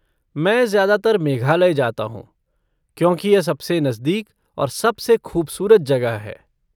मैं ज्यादातर मेघालय जाता हूँ, क्योंकि यह सबसे नजदीक और सबसे खूबसूरत जगह है।